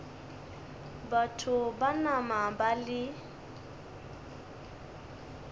batho ba nama ba le